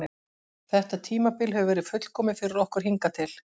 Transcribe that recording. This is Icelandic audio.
Þetta tímabil hefur verið fullkomið fyrir okkur hingað til.